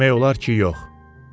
Demək olar ki, yox.